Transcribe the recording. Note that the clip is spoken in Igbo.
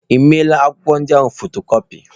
Ị meela akwụkwọ ndị ahụ fotokọpi?